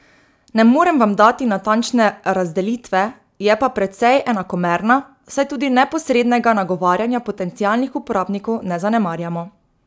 Ne morem vam dati natančne razdelitve, je pa precej enakomerna, saj tudi neposrednega nagovarjanja potencialnih uporabnikov ne zanemarjamo.